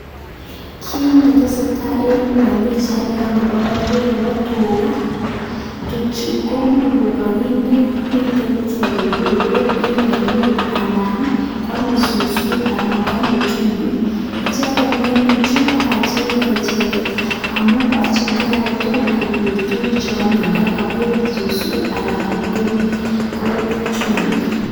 Ki netesetai Eng Pichaini Chu kotuga cheame chumbiiik ako eee peek tuchuuu